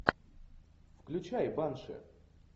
включай банши